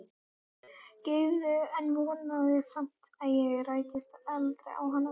Gyðu en vonaði samt að ég rækist aldrei á hana.